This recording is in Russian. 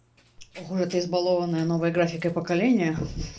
ох уж это избалованное новой графикой поколение